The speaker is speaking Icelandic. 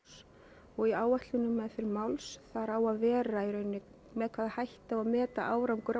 og í áætlun um meðferð máls þar á að vera með hvaða hætti á að meta árangur af